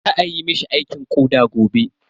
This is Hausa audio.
Za ayi mishi aikin koɗa gobe.